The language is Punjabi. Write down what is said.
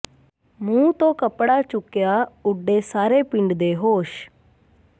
ਮੂੰਹ ਤੋਂ ਕਪੜਾ ਚੁੱਕਿਆ ਉਡੇ ਸਾਰੇ ਪਿੰਡ ਦੇ ਹੋਸ਼